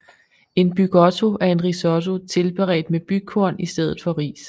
En Bygotto er en risotto tilberedt med bygkorn i stedet for ris